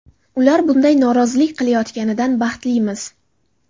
Ular bunday norozilik qilayotganidan baxtlimiz.